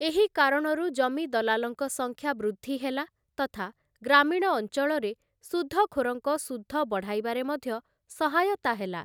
ଏହି କାରଣରୁ ଜମିଦଲାଲଙ୍କ ସଂଖ୍ୟା ବୃଦ୍ଧି ହେଲା ତଥା ଗ୍ରାମୀଣ ଅଞ୍ଚଳରେ ସୁଧଖୋରଙ୍କ ସୁଧ ବଢ଼ାଇବାରେ ମଧ୍ୟ ସହାୟତା ହେଲା ।